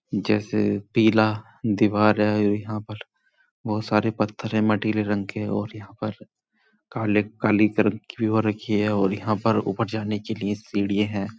जैसे पीला दीवार है। यहां पर बोहत सारे पत्थर हैं मठीले रंग के और यहाँ पर काले काली कलर और यहाँ ऊपर जाने के लिए सीढ़िये हैं।